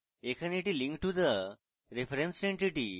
এখানে এটি link to the referenced entity